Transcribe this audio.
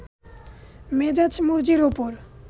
মেজাজ মর্জির ওপর